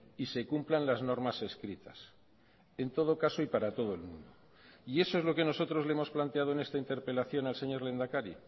y se cumplan las normas escritas en todo caso y para todo el mundo y eso es lo que nosotros le hemos planteado en esta interpelación al señor lehendakari